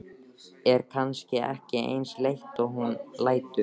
Er kannski ekki eins leitt og hún lætur.